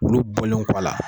Olu bɔlen kɔ a la